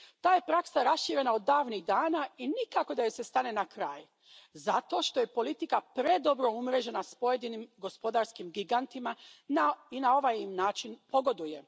Ta je praksa raširena od davnih dana i nikako da joj se stane na kraj zato što je politika predobro umrežena s pojedinim gospodarskim gigantima i na ovaj im način pogoduje.